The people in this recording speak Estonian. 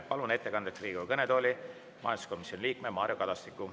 Palun ettekandeks Riigikogu kõnetooli majanduskomisjoni liikme Mario Kadastiku.